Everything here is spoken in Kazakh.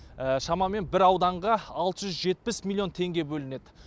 шамамен бір ауданға алты жүз жетпіс миллион теңге бөлінеді